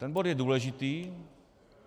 Ten bod je důležitý.